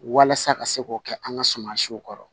Walasa ka se k'o kɛ an ka suman siw kɔrɔ